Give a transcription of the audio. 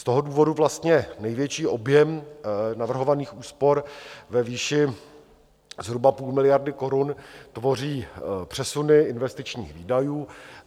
Z toho důvodu vlastně největší objem navrhovaných úspor ve výši zhruba půl miliardy korun tvoří přesuny investičních výdajů.